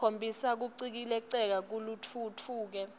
khombisa kucikelela lokutfutfuke